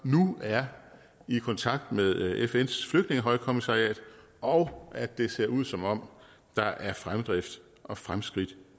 nu er i kontakt med fns flygtningehøjkommissariat og at det ser ud som om der er fremdrift og fremskridt